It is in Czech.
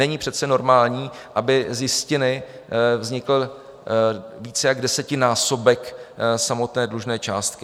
Není přece normální, aby z jistiny vznikl více jak desetinásobek samotné dlužné částky.